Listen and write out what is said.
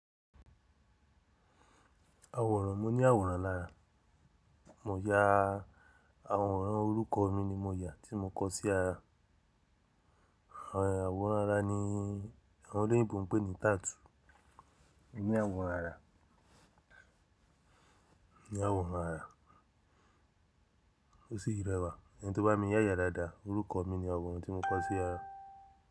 Àwòrán, mo ní àwòrán lára. Mo ya àwòrán orúkọ mi ni mo ya tí mo kọ sí ara. Àwòrán ara ni àwọn olóyìnbo ń pè ní tattoo. Mo ní àwòrán ara. Mo ní àwòrán ara. Ó sì rẹwà. Ẹni tó bá mi yá yàá dáadáa, orúkọ mi ni àwòrán tí mo kọ sí ara.